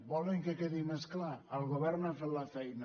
volen que quedi més clar el govern ha fet la fei·na